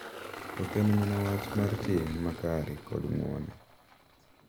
Ok en mana wach mar tim makare kod ng’uono .